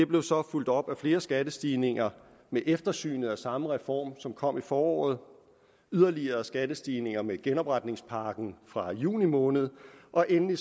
blev så fulgt op af flere skattestigninger med eftersynet af samme reform som kom i foråret yderligere kom der skattestigninger med genopretningspakken fra juni måned og endelig